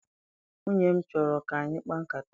Nwunye m chọrọ ka anyị kpaa nkata.